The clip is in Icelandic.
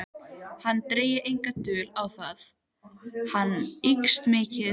Hann drægi enga dul á það: hún ykist mikið.